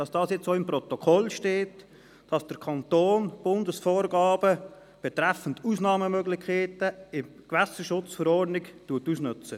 Es steht jetzt auch im Protokoll, dass der Kanton die Bundesvorgaben betreffend Ausnahmemöglichkeiten in der GSchV ausnutzt.